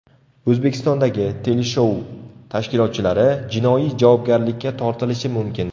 O‘zbekistondagi teleshou tashkilotchilari jinoiy javobgarlikka tortilishi mumkin.